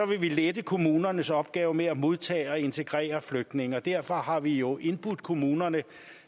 vil vi lette kommunernes opgave med at modtage og integrere flygtninge og derfor har vi jo indbudt kommunerne